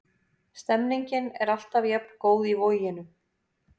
Stemningin er alltaf jafn góð í Voginum.